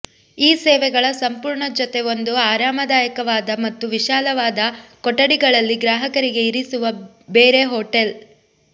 ಈ ಸೇವೆಗಳ ಸಂಪೂರ್ಣ ಜೊತೆ ಒಂದು ಆರಾಮದಾಯಕವಾದ ಮತ್ತು ವಿಶಾಲವಾದ ಕೊಠಡಿಗಳಲ್ಲಿ ಗ್ರಾಹಕರಿಗೆ ಇರಿಸುವ ಬೇರೆ ಹೋಟೆಲ್